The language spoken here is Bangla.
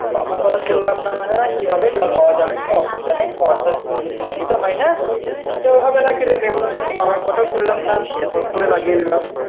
বাবার কথা শুনলাম না, হ্যাঁ কি হবে, জল পাওয়া যাবে কোন অসুবিধা নেই পর্সস বৃষ্টি টা হয় না ও হবে নাকিরে নেব, বাবার কথা শুনলাম না হট করে লাগিয়ে দিলাম